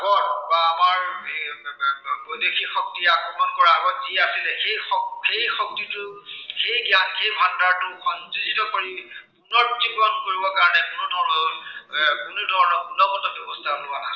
বৈদেশীক শক্তিয়ে আক্ৰমণ কৰাৰ আগত যি আছিলে, সেই শক্তিটো, সেই জ্ঞানৰ ভাণ্ডাৰটো সংযোজিত কৰি, উন্নত জীৱন কৰিবৰ বাবে কোনো ধৰনৰ এৰ কোনো ধৰনৰ গুণগত ব্য়ৱস্থা লোৱা নাছিলে।